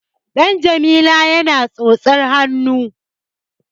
Ɗan Jamila yana tsotsar hannu.